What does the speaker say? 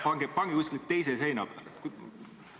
Pange nad kuskile teise seina peale!